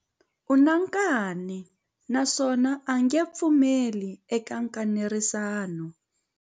U na nkani naswona a nge pfumeli eka nkanerisano.